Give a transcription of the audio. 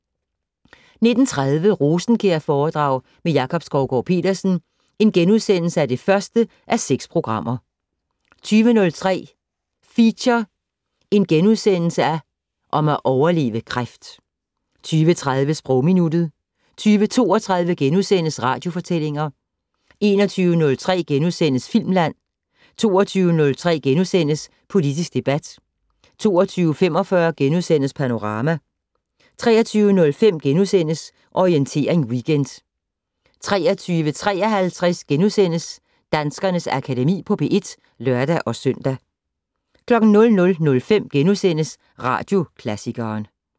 19:30: Rosenkjærforedrag med Jakob Skovgaard-Petersen (1:6)* 20:03: Feature: Om at overleve kræft * 20:30: Sprogminuttet 20:32: Radiofortællinger * 21:03: Filmland * 22:03: Politisk debat * 22:45: Panorama * 23:05: Orientering Weekend * 23:53: Danskernes Akademi på P1 *(lør-søn) 00:05: Radioklassikeren *